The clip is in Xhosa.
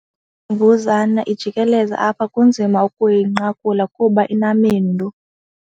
mbuzane ijikeleza apha kunzima ukuyinqakula kuba inamendu.